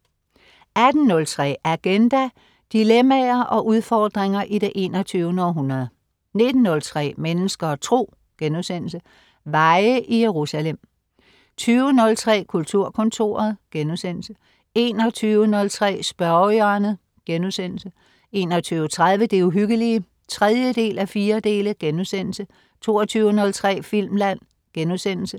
18.03 Agenda. Dilemmaer og udfordringer i det 21. århundrede 19.03 Mennesker og Tro.* Veje i Jerusalem 20.03 Kulturkontoret* 21.03 Spørgehjørnet* 21.30 Det Uhyggelige 3:4* 22.03 Filmland*